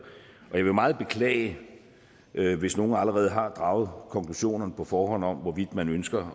og jeg vil meget beklage hvis nogen allerede har draget konklusionerne på forhånd om hvorvidt man ønsker